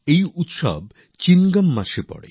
এই উৎসব চিঙ্গম মাসে হয়